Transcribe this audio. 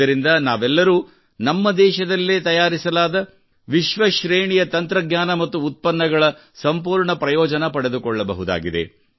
ಇದರಿಂದ ನಾವೆಲ್ಲರೂ ನಮ್ಮ ದೇಶದಲ್ಲೇ ತಯಾರಿಸಲಾದ ವಿಶ್ವ ಶ್ರೇಣಿಯ ತಂತ್ರಜ್ಞಾನ ಮತ್ತು ಉತ್ಪನ್ನಗಳ ಸಂಪೂರ್ಣ ಪ್ರಯೋಜನ ಪಡೆದುಕೊಳ್ಳಬಹುದಾಗಿದೆ